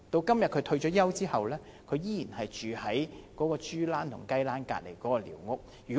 今天他退休後，依然住在豬欄和雞欄旁邊的寮屋。